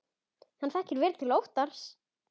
Hann þekkir vel til Óttars.